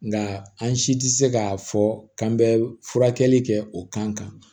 Nga an si tɛ se k'a fɔ k'an bɛ furakɛli kɛ o kan